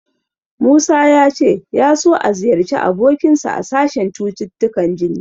Musa ya ce ya so ya ziyarci abokinsa a sashen cututtukan jini.